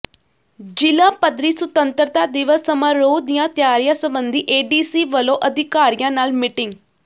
ਜ਼ਿਲ੍ਹਾ ਪੱਧਰੀ ਸੁਤੰਤਰਤਾ ਦਿਵਸ ਸਮਾਰੋਹ ਦੀਆਂ ਤਿਆਰੀਆਂ ਸਬੰਧੀ ਏਡੀਸੀ ਵੱਲੋਂ ਅਧਿਕਾਰੀਆਂ ਨਾਲ ਮੀਟਿੰਗ